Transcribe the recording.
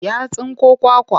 Ya tsinko kwakwa.